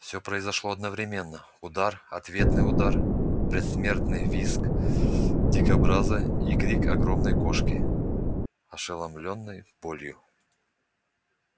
всё произошло одновременно удар ответный удар предсмертный визг дикобраза и крик огромной кошки ошеломлённой болью